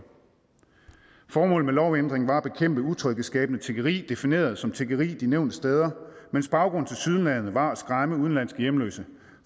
formålet med lovændringen var at bekæmpe utryghedsskabende tiggeri defineret som tiggeri de nævnte steder mens baggrunden tilsyneladende var at skræmme udenlandske hjemløse